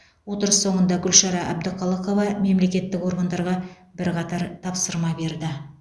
отырыс соңында гүлшара әбдіқалықова мемлекеттік органдарға бірқатар тапсырма берді